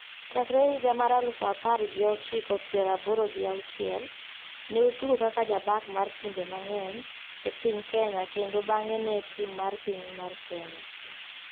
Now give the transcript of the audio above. Cchakre higa mar elufu apar gi ochiko piero aboro gi auchiel, ne otugo kaka ja bak mar timbe mangeny,e piny kenya kendo bange ne tim mar piny mar kenya.